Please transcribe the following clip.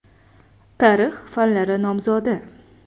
Tarix fanlari nomzodi.